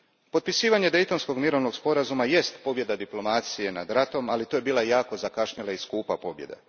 Potpisivanje Daytonskog mirovnog sporazuma je pobjeda diplomacije nad ratom, ali to je bila jako zakašnjela i skupa pobjeda.